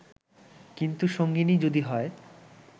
কিন্তু সঙ্গীনি যদি হয়